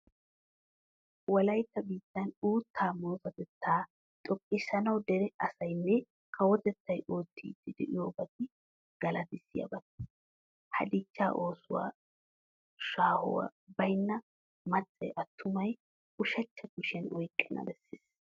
Wolaytta biittan uuttaa murutatettaa xoqqissanawu dere asaynne kawotettay oottiidi de'iyobati galatissiyabata. Ha dichchaa oosuwa shaahoy baynna maccay attumay ushachcha kushiyan oyqqana bessees.